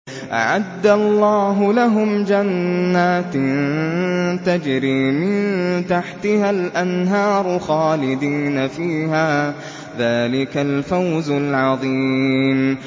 أَعَدَّ اللَّهُ لَهُمْ جَنَّاتٍ تَجْرِي مِن تَحْتِهَا الْأَنْهَارُ خَالِدِينَ فِيهَا ۚ ذَٰلِكَ الْفَوْزُ الْعَظِيمُ